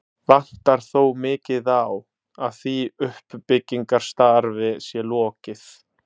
Vantar þó mikið á, að því uppbyggingarstarfi sé lokið.